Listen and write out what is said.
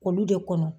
Olu de kɔnɔ